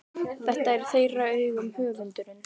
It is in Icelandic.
Þetta er í þeirra augum höfundurinn